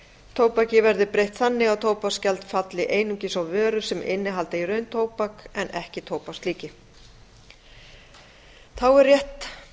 tóbaki verði breytt þannig að tóbaksgjald falli einungis á vörur sem innihalda í raun tóbak en ekki tóbakslíki þá er rétt